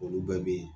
Olu bɛɛ bɛ yen